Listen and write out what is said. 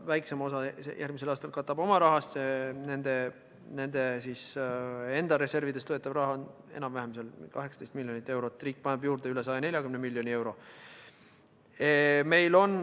Väiksema osa järgmisel aastal katab oma rahast nende enda reservidest võetav raha, enam-vähem 18 miljonit eurot, riik paneb juurde üle 140 miljoni euro.